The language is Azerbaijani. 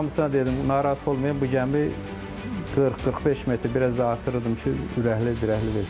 Mən hamısına dedim, narahat olmayın, bu gəmi 40-45 metr biraz da artırırdım ki, ürəkli dirəkli versinlər.